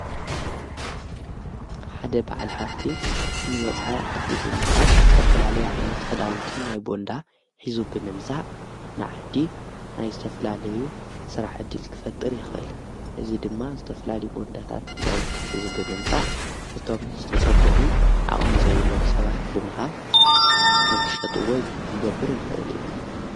ሓደ በዓል ሃፍቲ ንወፃይ ዓዲ ብምኻድ ዝተፍላለ ዓይነት ኽዳውንቲ ናይ ቦንዳ ኂዙ ብመምጻዕ ንዓዲ ናይ ዝተፍላለዩ ሠራሕ እድል ክፈጥር ይኽእል እዝ ድማ ዝተፍላሊ በወንዳታት ኽዳውንቲ ኂዙ ብመምጻዕ ነቶም ዝተጸጐሙ ዓቐሚ ዘይብሎም ሰባት ብምሃብ ንክሸጥዎይ ክገብር ይኽእል እዩ።